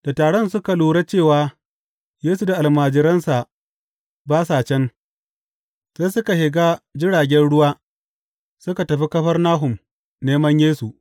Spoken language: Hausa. Da taron suka lura cewa Yesu da almajiransa ba sa can, sai suka shiga jiragen ruwa suka tafi Kafarnahum neman Yesu.